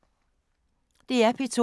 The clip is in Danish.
DR P2